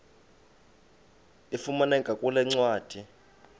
ifumaneka kule ncwadi